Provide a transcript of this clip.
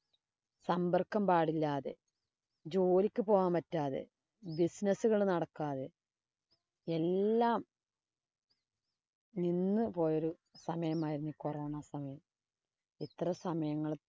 സമ്പര്‍ക്കം പാടില്ലാതെ, ജോലിക്ക് പോകാന്‍ പറ്റാതെ, business നടക്കാതെ, എല്ലാം നിന്ന് പോയ ഒരു സമയം ആയിരുന്നു corona സമയം. ഇത്ര സമയങ്ങള്